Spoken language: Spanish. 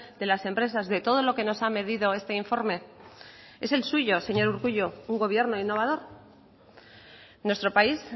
de las empresas de todo lo que nos ha medido este informe es el suyo señor urkullu un gobierno innovador nuestro país